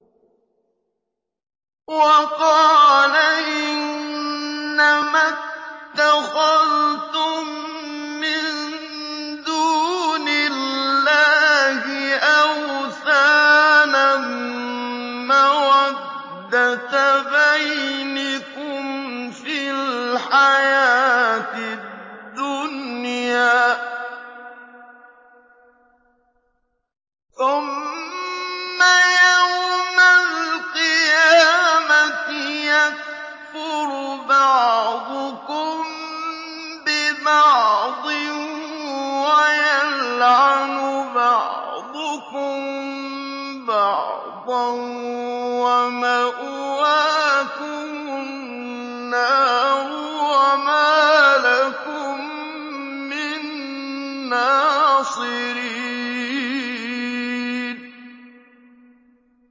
وَقَالَ إِنَّمَا اتَّخَذْتُم مِّن دُونِ اللَّهِ أَوْثَانًا مَّوَدَّةَ بَيْنِكُمْ فِي الْحَيَاةِ الدُّنْيَا ۖ ثُمَّ يَوْمَ الْقِيَامَةِ يَكْفُرُ بَعْضُكُم بِبَعْضٍ وَيَلْعَنُ بَعْضُكُم بَعْضًا وَمَأْوَاكُمُ النَّارُ وَمَا لَكُم مِّن نَّاصِرِينَ